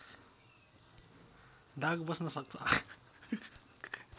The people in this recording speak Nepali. दाग बस्न सक्छ